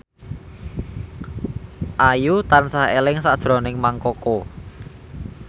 Ayu tansah eling sakjroning Mang Koko